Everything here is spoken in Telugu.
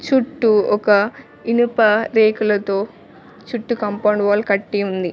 చుట్టూ ఒక ఇనుప రేకులతో చుట్టు కంపౌండ్ వాల్ కట్టి ఉంది.